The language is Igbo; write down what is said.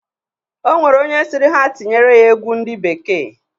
O nwere onye sịrị ha tinyere ya egwu ndị bekee.